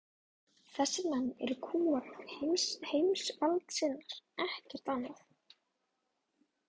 Þessir menn eru kúgarar og heimsvaldasinnar, ekkert annað.